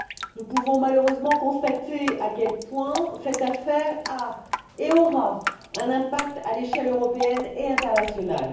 Nous pouvons malheureusement constater à quel point cette affaire a et aura un impact à l'échelle européenne et internationale.